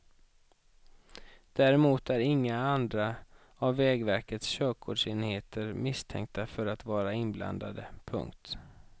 Däremot är inga andra av vägverkets körkortsenheter misstänkta för att vara inblandade. punkt